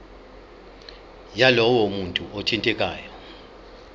yalowo muntu othintekayo